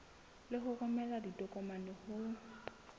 le ho romela ditokomane ho